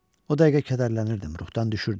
O dəqiqə kədərlənirdim, ruhdan düşürdüm.